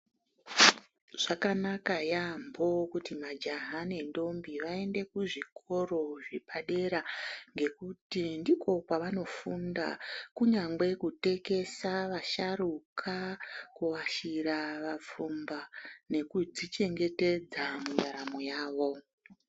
Zvakanaka yaambo kuti majaha nendombi vaende kuzvikoro zvepadera ngekuti ndiko kwavanofunda kunyangwe kutekesa vasharuka, kuashira vafumba nekudzichengetedza muraramo yawo.